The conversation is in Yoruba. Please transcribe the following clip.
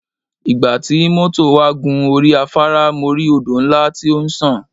Ìgbà tí mọ́tọ̀ wà gun orí afAárá mo rí Odò ńlá tí ó ń sàn.